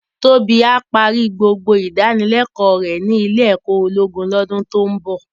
Tobi á pàri gbógbó idánilèkò rè ni ilé èkò ólógún lòdún tó n bò